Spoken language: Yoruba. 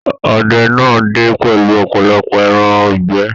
Ọdẹ náà dé pẹlú ọpọlọpọ ẹran ìgbẹ́.